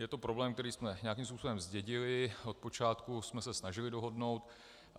Je to problém, který jsme nějakým způsobem zdědili, od počátku jsme se snažili dohodnout.